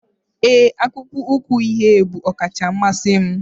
ee, akpụkpọ ụkwụ uhie bụ ọkacha mmasị m